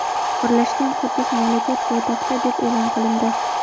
Birlashgan Quddus mamlakat poytaxti deb e’lon qilindi.